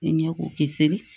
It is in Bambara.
Ɲɛ k'u kisi